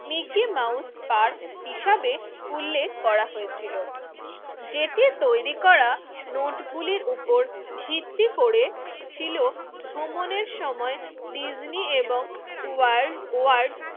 Mickey Mouse Park হিসাবে উল্লেখ করা হয়েছিল। যেটি তৈরি করা নোটগুলোর উপর ভিত্তি করেছিল ভ্রমণের সময় ডিজনি এবং ওয়াল্ড ওয়ার্ড